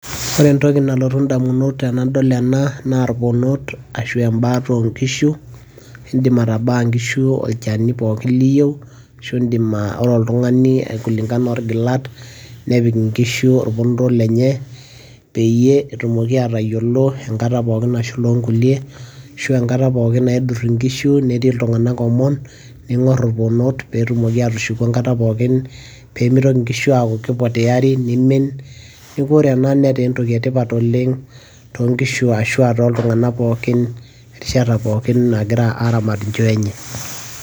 Ore entoki nalotu indamunot tenadol ena, naa irponot ashu embaata onkishu, idim atabaa nkishu olchani pookin liyieu, ashu idim oltung'ani kulingana orgilat, nepik inkishu orponoto lenye, peyie etumoki atayiolo enkata pookin nashula onkulie, ashu enkata pookin naidur inkishu etii iltung'anak omon, ning'or irponot petumoki atushuku enkata pookin, pemitoki nkishu aku kipoteari, nimin, neeku ore ena entoki etipat oleng, tonkishu ashua toltung'anak pookin, rishata pookin egira aramat inchoo enye.